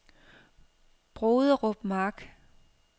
Broderup Mark